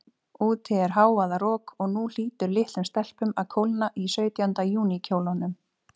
Úti er hávaðarok, og nú hlýtur litlum stelpum að kólna í sautjánda júní kjólunum.